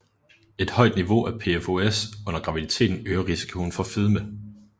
Et højt niveau af PFOS under graviditeten øger risikoen for fedme